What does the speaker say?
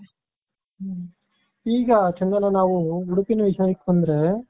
ಹ್ಮ್ಈ ಗ ಚಂದನ ನಾವು ಉಡುಪಿನ ವಿಷಯಕ್ಕೆ ಬಂದ್ರೆ.